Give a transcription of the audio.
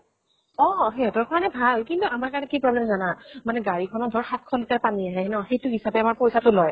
অ, সিহঁতৰ কাৰণে ভাল। কিন্তু আমাৰ কাৰণে কি problem জানা? মানে গাড়ী খনত ধৰ সাত শ litre পানী আহে ন, সেইটো হিচাপে আমাৰ পইচা টো লয়